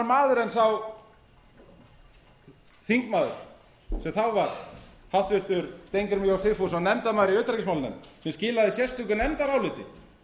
annar maður en sá þingmaður sem þá var háttvirtur steingrímur j sigfússon nefndarmaður í utanríkismálanefnd sem skilaði sérstöku nefndaráliti